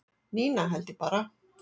Nína held ég bara